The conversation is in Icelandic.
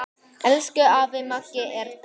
Elsku afi Maggi er dáinn.